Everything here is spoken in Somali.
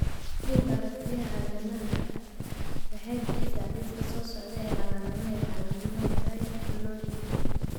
Bugga aragtiyaha Aanadanaha. waxay bixisaa liiska soo socda ee calaamadaha iyo calaamadaha Triploidy.